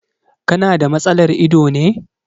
Ka na da matsalar ido ne.